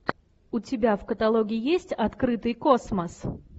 у тебя в каталоге есть открытый космос